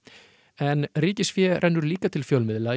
en ríkisfé rennur líka til fjölmiðla